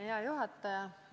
Hea juhataja!